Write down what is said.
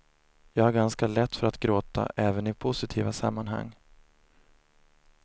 Jag har ganska lätt för att gråta, även i positiva sammanhang.